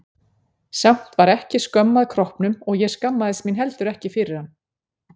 Samt var ekki skömm að kroppnum og ég skammaðist mín heldur ekki fyrir hann.